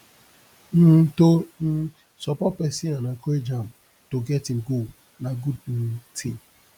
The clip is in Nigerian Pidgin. um to um support pesin and encourage am to get im goal na good um ting